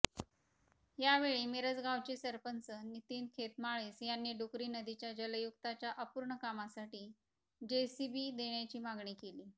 यावेळी मिरजगावचे सरपंच नितीन खेतमाळीस यांनी डुकरी नदीच्या जलयुक्तच्या अपूर्ण कामासाठी जेसीबी देण्याची मागणी केली